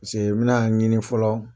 Pasee bɛna a ɲini fɔlɔ.